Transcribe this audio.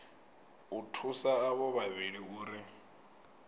u thusa avho vhavhili uri